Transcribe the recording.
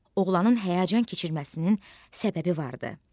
Oğlanın həyəcan keçirməsinin səbəbi vardı.